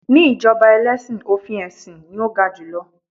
ní ijoba ẹlẹsin, ofin esin ni o ga jù lọ